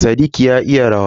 Sadiq ya iya rawa.